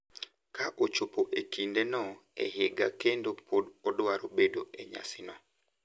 Ka ochopo e kindeno e higa kendo pod odwaro bedo e nyasino,